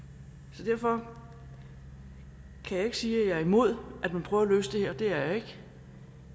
så derfor kan jeg ikke sige at jeg er imod at man prøver at løse det her det er jeg ikke